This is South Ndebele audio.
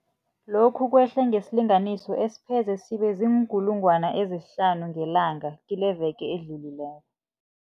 Lokhu kwehle ngesilinganiso esipheze sibe ziinkulungwana ezihlanu ngelanga kileveke edlulileko.